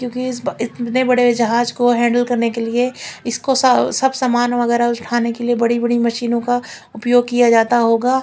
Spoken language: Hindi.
क्योकि इस ब इतने बड़े जहाज को हैंडल करने के लिए इसको सा सब समान वगैरह रोज खाने के लिए बड़ी बड़ी मशीनों का उपयोग किया जाता होगा।